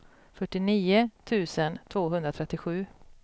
fyrtionio tusen tvåhundratrettiosju